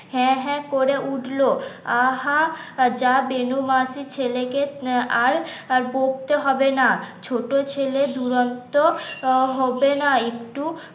হ্যাঁ হ্যাঁ করে উঠল আ হা যা বেনু মাসি ছেলে কে আর দেখতে হবে না ছোট ছেলে দুরন্ত হবে না একটু